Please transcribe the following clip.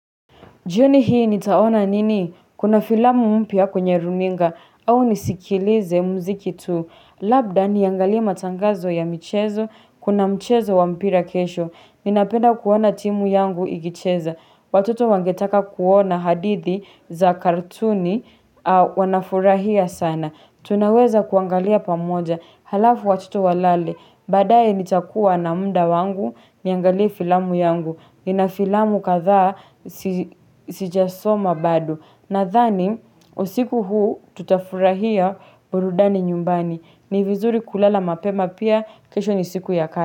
Jioni hii nitaona nini? Kuna filamu mpia kwenye runinga au nisikilize mziki tu. Labda niangalie matangazo ya michezo, kuna mchezo wa mpira kesho. Ninapenda kuona timu yangu ikicheza. Watoto wangetaka kuona hadidhi za kartuni, wanafurahia sana. Tunaweza kuangalia pamoja, halafu watoto walale, baadaye, nitakuwa na muda wangu, niangalie filamu yangu, nina filamu kadhaa sijasoma bado. Nadhani, usiku huu tutafurahia burudani nyumbani. Ni vizuri kulala mapema pia, kesho ni siku ya kazi.